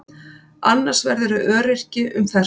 Annars verðurðu öryrki um fertugt.